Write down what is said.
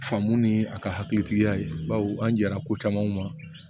Famo ni a ka hakilitigiya ye baw an jɛnna ko caman ma